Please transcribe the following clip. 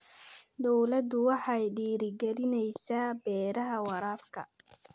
Dawladdu waxay dhiirigelinaysaa beeraha waraabka.